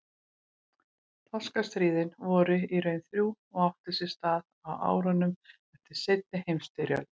Þorskastríðin voru í raun þrjú og áttu sér stað á árunum eftir seinni heimsstyrjöld.